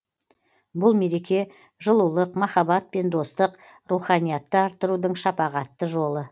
бұл мереке жылулық махаббат пен достық руханиятты арттырудың шапағатты жолы